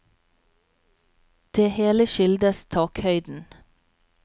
Det hele skyldes takhøyden.